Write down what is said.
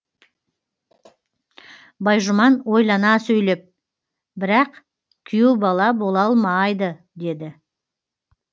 байжұман ойлана сөйлеп бірақ күйеу бала бола алмайды деді